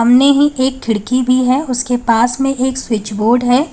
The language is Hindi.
सामने ही एक खिड़की भी है उसके पास में एक स्विच बोर्ड है।